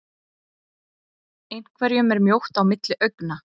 Einhverjum er mjótt á milli augna